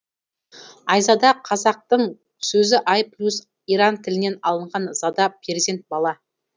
айзада қазақтың сөзі ай плюс иран тілінен алынған зада перзент бала